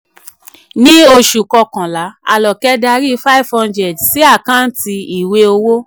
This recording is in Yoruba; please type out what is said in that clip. ni oṣù kọkànlá aloke dari five hundred sí àkáǹtì ìwé owó